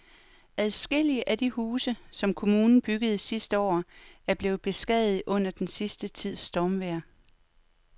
Adskillige af de huse, som kommunen byggede sidste år, er blevet beskadiget under den sidste tids stormvejr.